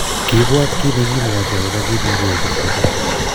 kiibwaat kiit nekikimwochi akobo kiit nekiyai Kifuja